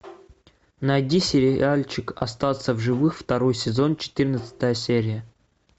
найди сериальчик остаться в живых второй сезон четырнадцатая серия